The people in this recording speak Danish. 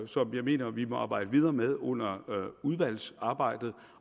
som jeg mener vi må arbejde videre med under udvalgsarbejdet